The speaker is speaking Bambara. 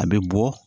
A bɛ bɔ